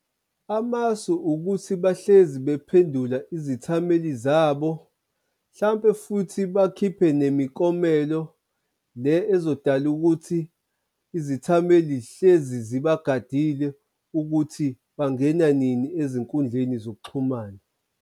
Amasu ukuthi bahlezi bephedula izithameli zabo, hlampe futhi bakhiphe nemikomelo le ezodala ukuthi izithameli zihlezi zibagadile ukuthi bangena nini ezinkundleni zokuxhumana.